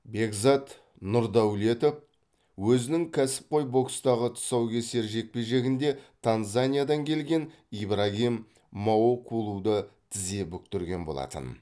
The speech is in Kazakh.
бекзат нұрдәулетов өзінің кәсіпқой бокстағы тұсаукесер жекпе жегінде танзаниядан келген ибрагим маоколуді тізе бүктірген болатын